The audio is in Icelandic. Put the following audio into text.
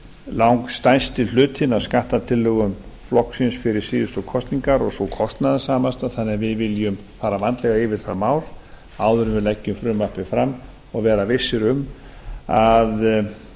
langstærsti hlutinn af skattatillögum flokksins fyrir síðustu kosningar og sú kostnaðarsamasti þannig að viljum fara vandlega yfir það mál áður en við leggjum frumvarpið fram og vera vissir um að